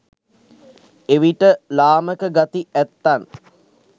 එවිට ලාමක ගති ඇත්තන්